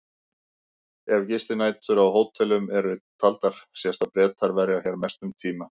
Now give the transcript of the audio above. Ef gistinætur á hótelum eru taldar sést að Bretar verja hér mestum tíma.